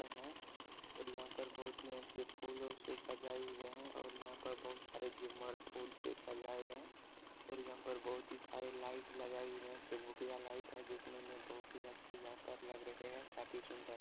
और यहाँ पर बहुत ही अच्छे फूलों से सजाई हुए हैं और यहाँ बहुत सारे झूमर फूल से सजाये हैं औरत यहाँ पर बहुत ही सारी लाइट लगाई हैं चुकभुकिया लाइट है देखने मे बहुत ही अच्छी यहा पर लग रहे हैं काफी सुंदर--